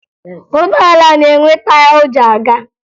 Ụgbọala na-enwe taya o ji aga